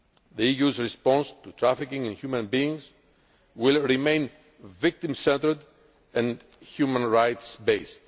The EU's response to trafficking in human beings will remain victim centred and human rights based.